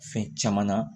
Fɛn caman na